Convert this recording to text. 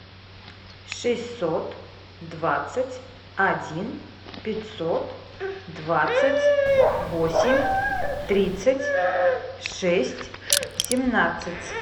шестьсот двадцать один пятьсот двадцать восемь тридцать шесть семнадцать